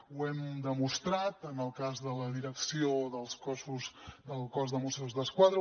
ho hem demostrat en el cas de la direcció del cos de mossos d’esquadra